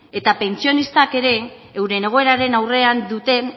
eta pentsionistak ere euren egoeraren aurrean duten